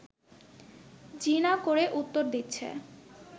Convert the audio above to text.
জি না করে উত্তর দিচ্ছে